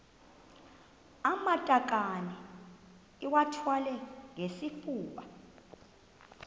amatakane iwathwale ngesifuba